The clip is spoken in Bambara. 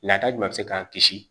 Lata jumɛn bɛ se k'an kisi